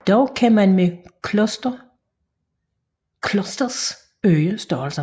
Dog kan man med clusters øge størrelserne